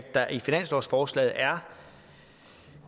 der i finanslovsforslaget er